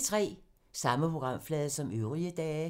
Samme programflade som øvrige dage